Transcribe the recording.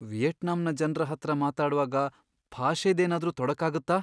ವಿಯೆಟ್ನಾಂನ ಜನ್ರ ಹತ್ರ ಮಾತಾಡ್ವಾಗ ಭಾಷೆದೇನಾದ್ರೂ ತೊಡಕಾಗತ್ತಾ?